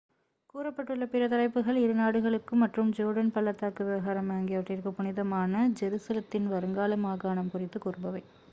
கூறப்பட்டுள்ள பிற தலைப்புகள் இரு நாடுகளுக்கும் மற்றும் ஜோர்டன் பள்ளத்தாக்கு விவகாரம் ஆகியவற்றிற்கு புனிதமான ஜெருசலத்தின் வருங்கால மாகாணம் குறித்து கூறுபவை